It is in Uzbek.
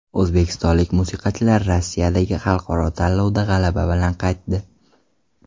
O‘zbekistonlik musiqachilar Rossiyadagi xalqaro tanlovdan g‘alaba bilan qaytdi.